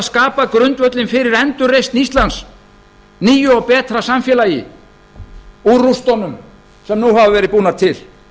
skapað grundvöllinn fyrir endurreisn íslands nýju og betra samfélagi úr rústunum sem nú hafa verið búnar til